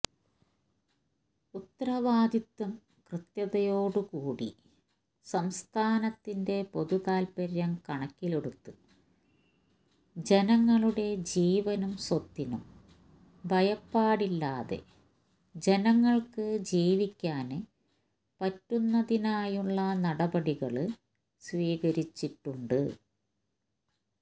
ഉത്തരവാദിത്വം കൃത്യതയോടു കൂടി സംസ്ഥാനത്തിന്റെ പൊതുതാല്പര്യം കണക്കിലെടുത്ത് ജനങ്ങളുടെ ജീവനും സ്വത്തിനും ഭയപ്പാടില്ലാതെ ജനങ്ങള്ക്ക് ജീവിക്കാന് പറ്റുന്നതിനായുള്ള നടപടികള് സ്വീകരിച്ചിട്ടുണ്ട്